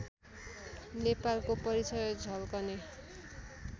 नेपालको परिचय झल्कने